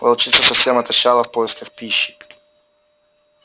волчица совсем отощала в поисках пищи